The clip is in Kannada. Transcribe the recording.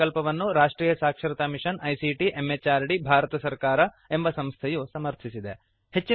ಈ ಪ್ರಕಲ್ಪವನ್ನು ರಾಷ್ಟ್ರಿಯ ಸಾಕ್ಷರತಾ ಮಿಷನ್ ಐಸಿಟಿ ಎಂಎಚಆರ್ಡಿ ಭಾರತ ಸರ್ಕಾರ ಎಂಬ ಸಂಸ್ಥೆಯು ಸಮರ್ಥಿಸಿದೆ